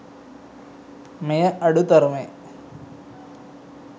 මෙය අඩු තරමේ